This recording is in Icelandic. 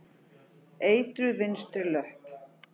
Eitruð vinstri löpp.